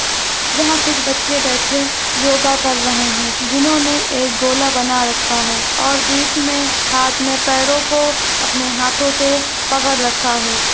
यहाँ कुछ बच्चे बैठे योगा कर रहे है जिन्होंने एक गोला बना रखा है और बीच मे हाथ ने पैरो को अपने हाथो से पकड़ रखा है।